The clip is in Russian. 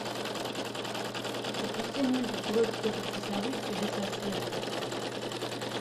запусти мультик уроки тетушки совы чудеса света